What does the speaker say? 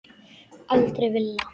Aldrei villa.